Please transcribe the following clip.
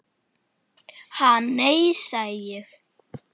Ha, nei, sagði ég.